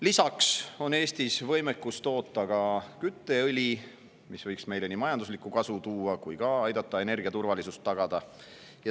Lisaks on Eestis võimekus toota kütteõli, mis võiks meile nii majanduslikku kasu tuua kui ka aidata energiaturvalisust tagada.